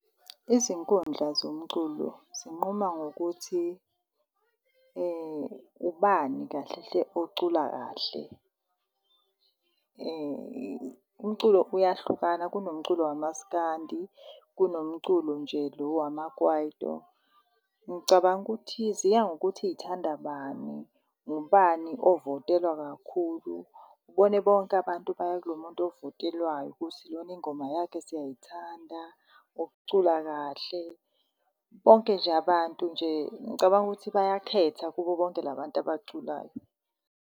Izinkundla zomculo zinquma ngokuthi , ubani kahle hle ocula kahle. Umculo uyahlukana, kunomculo waMaskandi, kunomculo nje lo wamaKwaito. Ngicabanga ukuthi ziya ngokuthi y'thanda bani, ngubani ovotelwa kakhulu. Ubone bonke abantu baya kulo muntu ovotelwayo ukuthi lona ingoma yakhe siyayithanda ucula kahle. Bonke nje abantu nje ngicabanga ukuthi bayakhetha kubo bonke la bantu abaculayo.